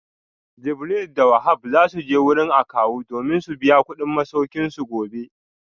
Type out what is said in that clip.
Jibril da Wahab za su je wurin akawu domin su biya kudin masaukinsu gobe